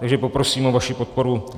Takže poprosím o vaši podporu.